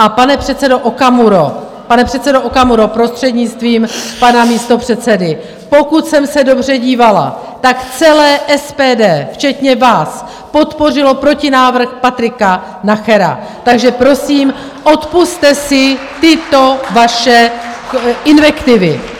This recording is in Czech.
A pane předsedo Okamuro, prostřednictvím pana místopředsedy, pokud jsem se dobře dívala, tak celé SPD včetně vás podpořilo protinávrh Patrika Nachera, takže prosím, odpusťte si tyto vaše invektivy.